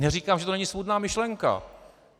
Neříkám, že to není svůdná myšlenka.